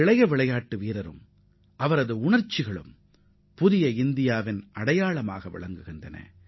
இளம் விளையாட்டு வீரர்களின் பொறுமையும் அர்ப்பணிப்பு உணர்வும் புதிய இந்தியாவின் அடையாளமாகத் திகழ்கின்றன